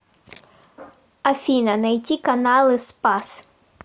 афина найти каналы спас